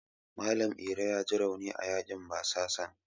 Malam Iro yaji rauni a yaƙin basasan.